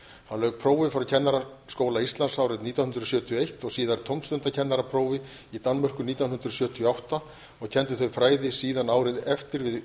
hann lauk prófi frá kennaraskóla íslands árið nítján hundruð sjötíu og eitt og síðar tómstundakennaraprófi í danmörku nítján hundruð sjötíu og átta og kenndi þau fræði síðan árið eftir við